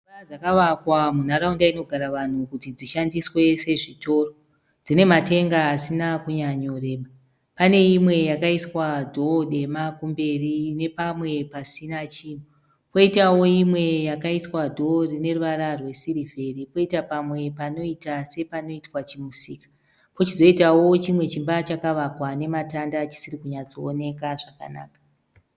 Nzimba dzakawakwa munharaunda inogara wanhu kuti dzishandiswe sezvitoro. Dzinematenga Asina kunyanyoreba pane imwe yakaiswa dhoo dema kumberi ne pamwe pasina chinhu koitawo imwe yakaiswa dhoo rineruvara rwesirivheri koita pamwe panoita sepanoitwa chimusika kuchizoitawo chimwe chimba chakawakwa nematanda chisiri kunatsooneka